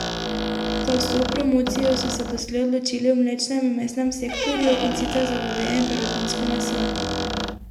Za vstop v promocijo so se doslej odločili v mlečnem in mesnem sektorju, in sicer za goveje in perutninsko meso.